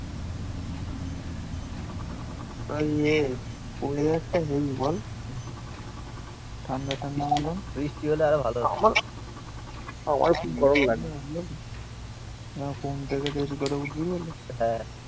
ওই এ ওয়েদার টা হেবি বল হম ঠাণ্ডা ঠাণ্ডা মতন. বৃষ্টি হলে আরো ভালো হতো আমার খুব গরম লাগে কোনটাকে বেশি করে উঠবি বলে?